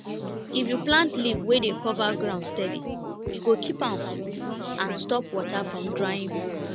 if you plant leaf wey d cover ground steady e go keep am cool and stop water from drying quick